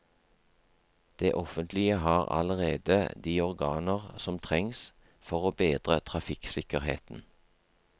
Det offentlige har allerede de organer som trengs for å bedre trafikksikkerheten.